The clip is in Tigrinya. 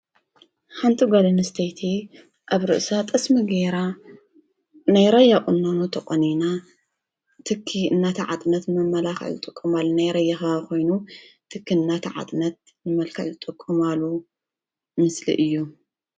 ሓንቲ ጓል ኣንስተይቲ ኣብ ርእሳ ጠስሚ ጌራ ናይ ራያ ቁኖ ተቆኒና ትኪ እንዳተዓጠነት መመላኪ ዝጥቀመሉ ናይ ራያ ከባቢ ኮይኑ ትኪ እንዳተዓጠነት ንመልክዕ ዝጥቀማሉ ምስሊ እዩ፡፡